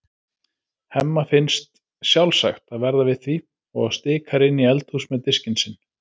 Hemma finnst sjálfsagt að verða við því og stikar inn í eldhús með diskinn sinn.